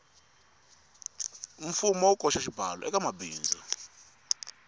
mfumo wu koxa xibalo ekamabindzu